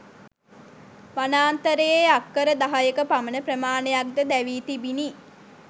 වනාන්තරයේ අක්කර දහයක පමණ ප්‍රමාණයක්ද දැවී තිබිණි.